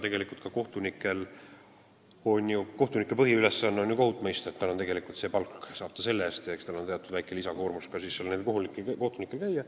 Tegelikult on ju kohtuniku põhiülesanne kohut mõista, palka saab ta selle eest, eks tal oleks teatud väike lisakoormus, kui tuleks seal käia.